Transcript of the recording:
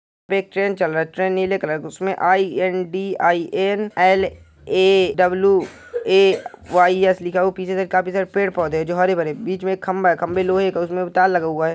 एक ट्रेन चल रहा है ट्रेन नीले कलर का है उसमे I N D I N L A W A Y S लिखा हुआ है और आगे काफी पेड़ पौधे है जो हरे भरे है पीछे एक खंभा है खंभा लोहे का है उसमे तार लगा हुआ है ।